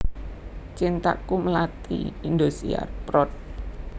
Cintaku Melati Indosiar prod